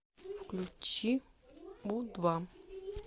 включи у два